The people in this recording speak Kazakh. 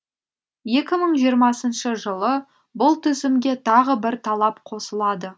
екі мың жиырмасыншы жылы бұл тізімге тағы бір талап қосылады